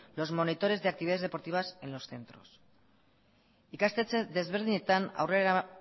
los monitores de actividades deportivas en los centros ikastetxe desberdinetan aurrera